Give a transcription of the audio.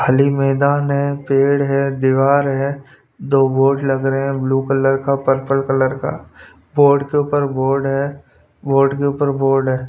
खाली मैदान है पेड़ है दीवार है दो बोर्ड लग रहे हैं ब्लू कलर का पर्पल कलर का बोर्ड के ऊपर बोर्ड है बोर्ड के ऊपर बोर्ड है.